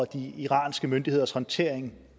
de iranske myndigheders håndtering